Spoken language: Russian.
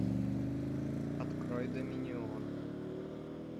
открой доминион